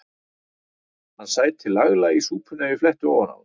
Hann sæti laglega í súpunni ef ég fletti ofan af honum.